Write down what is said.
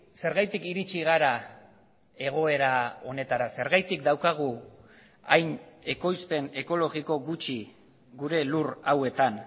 zergatik iritsi gara egoera honetara zergatik daukagu hain ekoizpen ekologiko gutxi gure lur hauetan